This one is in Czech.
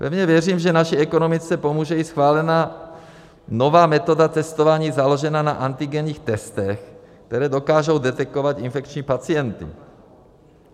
Pevně věřím, že naší ekonomice pomůže i schválená nová metoda testování založená na antigenních testech, které dokážou detekovat infekční pacienty.